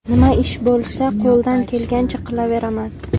Nima ish bo‘lsa, qo‘ldan kelgancha qilaveraman.